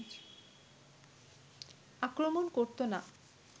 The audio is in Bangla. আক্রমণ করতো না